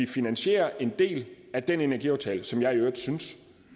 finansierer en del af den energiaftale som jeg i øvrigt synes